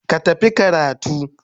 Ka tafi karatu.